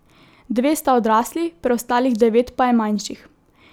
Dve sta odrasli, preostalih devet pa je manjših.